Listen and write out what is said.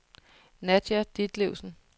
Nadia Ditlevsen